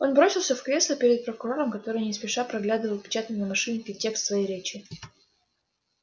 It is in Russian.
он бросился в кресло перед прокурором который не спеша проглядывал отпечатанный на машинке текст своей речи